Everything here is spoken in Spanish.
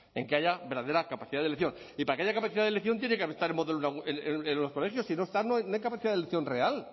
en que haya verdadera capacidad de elección y para que haya capacidad de elección tiene que el modelo en los colegios si no está no hay capacidad de elección real